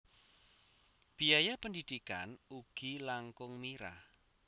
Biaya pendidikan ugi langkung mirah